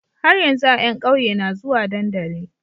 Har yanzu a yan ƙauye na zuwa dandali